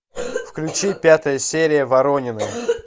включи пятая серия воронины